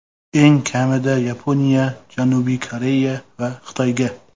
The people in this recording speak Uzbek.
Eng kamida Yaponiya, Janubiy Koreya va Xitoyga.